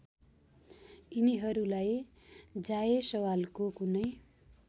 यिनीहरूलाई जायसवालको कुनै